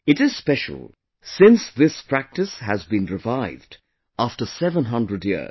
It is special, since this practice has been revived after 700 years